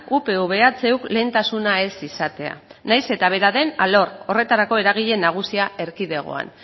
upv ehuk lehentasuna ez izatea nahiz eta bera den alor horretarako eragile nagusia erkidegoan